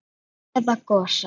Eða Gosa?